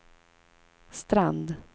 Strand